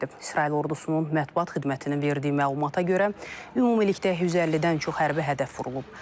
İsrail ordusunun mətbuat xidmətinin verdiyi məlumata görə, ümumilikdə 150-dən çox hərbi hədəf vurulub.